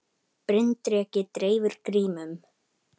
Bryndreki dreifir grímum